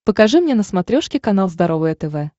покажи мне на смотрешке канал здоровое тв